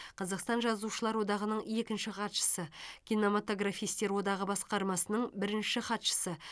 қазақстан жазушылар одағының екінші хатшысы кинематографистер одағы басқармасының бірінші хатшысы